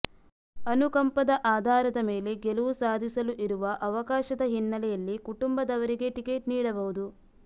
ಅನುಕಂಪದ ಆಧಾರದ ಮೇಲೆ ಗೆಲುವು ಸಾಧಿಸಲು ಇರುವ ಅವಕಾಶದ ಹಿನ್ನೆಲೆಯಲ್ಲಿ ಕುಟುಂಬದವರಿಗೆ ಟಿಕೆಟ್ ನೀಡಬಹುದು